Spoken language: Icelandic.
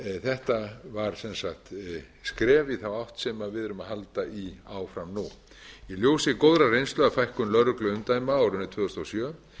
þetta var sem sagt skref í þá átt sem við erum að halda í áfram nú í ljósi góðrar reynslu af fækkun lögregluumdæma á árinu tvö þúsund og sjö